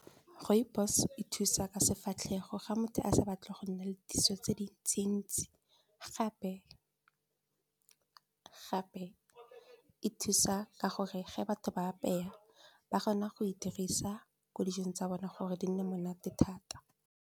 Rooibos e thusa ka sefatlhego ga motho a sa batle go nna le diso tse dintsi-ntsi gape e thusa ka gore ge batho ba batla go apeya ba kgona go e dirisa ko dijong tsa bona gore di nne monate thata.